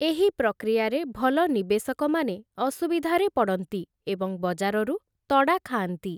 ଏହି ପ୍ରକ୍ରିୟାରେ ଭଲ ନିବେଶକମାନେ ଅସୁବିଧାରେ ପଡ଼ନ୍ତି ଏବଂ ବଜାରରୁ ତଡ଼ା ଖାଆନ୍ତି ।